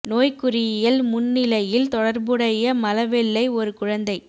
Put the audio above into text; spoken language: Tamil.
நோய்க்குறியியல் முன்னிலையில் தொடர்புடைய மல வெள்ளை ஒரு குழந்தை